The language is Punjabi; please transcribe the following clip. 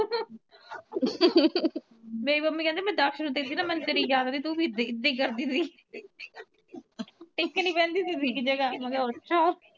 ਮੇਰੀ ਮੰਮੀ ਕੇਂਦੀ ਮੈਂ ਜੱਸ ਨੂੰ ਦੇਖਦੀ ਮੇਨੂ ਤੇਰੀ ਯਾਦ ਆਉਂਦੀ ਸੀਗੀ ਤੂੰ ਵੀ ਏਦੇ ਕਰਦੀ ਸੀ ਟੇਕੇ ਨੀ ਵਹਿੰਦੀ ਸੀਗੀ ਇਕ ਜਗ੍ਹਾ ਮੈਂ ਕਿਆ ਅੱਛਾ